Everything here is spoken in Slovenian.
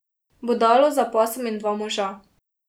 Bodalo za pasom in dva moža.